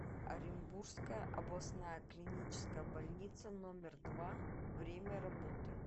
оренбургская областная клиническая больница номер два время работы